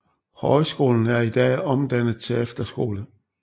Højskolen er i dag omdannet til efterskole